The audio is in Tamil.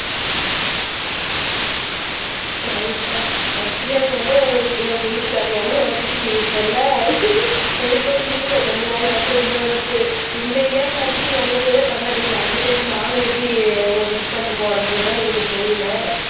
சரிப்பா பர்த்டேன்ன உடனே உங்களுக்கு உங்க வீட்டுக்காரர் நியாபகம் வந்துருச்சு இப்ப இல்லை சரி சரி இருங்க கொஞ்ச நாளைக்கு அப்புறம் இந்த மன்த் இந்த இயர்ல வந்து நீங்க அங்க போய்தான் கொண்டாடுவீங்க அந்த டைம் நாங்க எப்படி உங்களை விஷ் பண்ண போறோம்ன்றதுதான் எங்களுக்கு தெரியலை